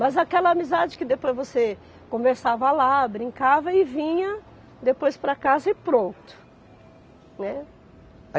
Mas aquela amizade que depois você conversava lá, brincava e vinha depois para casa e pronto, né.